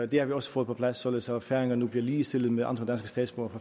det har vi også fået på plads således at færingerne nu bliver ligestillet med andre danske statsborgere